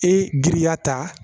E giriya ta